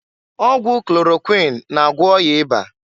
Ọgwụ klorokwuin na-agwọ ọya ịba.